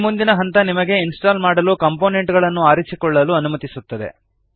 ಈ ಮುಂದಿನ ಹಂತ ನಿಮಗೆ ಇನ್ಸ್ಟಾಲ್ ಮಾಡಲು ಕಾಂಪೋನೆಂಟ್ ಗಳನ್ನು ಆರಿಸಿಕೊಳ್ಳಲು ಅನುಮತಿಸುತ್ತದೆ